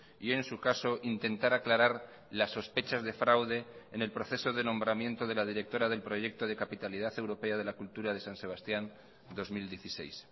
y en su caso intentar aclarar las sospechas de fraude en el proceso de nombramiento de la directora del proyecto de capitalidad europea de la cultura de san sebastián dos mil dieciséis